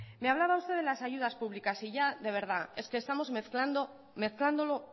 me hablaba usted de las ayudas públicas y ya de verdad es que estamos mezclándolo